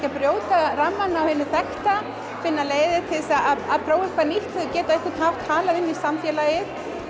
að brjóta rammann á hinu þekkta finna leiðir til að prófa eitthvað nýtt svo þau geti á einhvern hátt talað inn í samfélagið